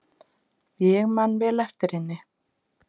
Ég man vel eftir henni.